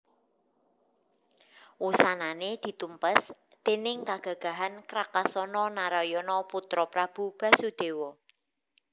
Wusanané ditumpes déning kagagahan Krakasana Narayana putra Prabu Basudéwa